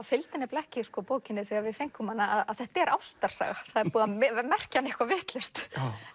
fylgdi nefnilega ekki bókinni þegar við fengum hana að þetta er ástarsaga það er búið að merkja hana eitthvað vitlaust